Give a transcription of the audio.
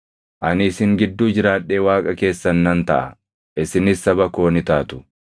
Ani isin gidduu jiraadhee Waaqa keessan nan taʼa; isinis saba koo ni taatu.